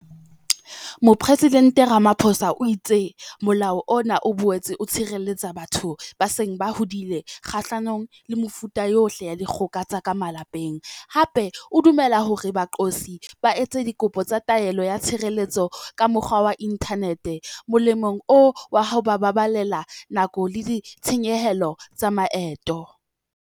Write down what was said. Mopresidente Ramaphosa o itse Molao ona o boetse o tshireletsa batho ba seng ba hodile kgahlanong le mefuta yohle ya dikgoka tsa ka malapeng, hape o dumella hore baqosi ba etse dikopo tsa taelo ya tshireletso ka mokgwa wa inthanete, molemong wa ho ba baballela nako le ditshenyehelo tsa maeto.